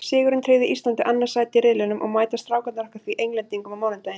Sigurinn tryggði Íslandi annað sætið í riðlinum og mæta Strákarnir okkar því Englendingum á mánudaginn.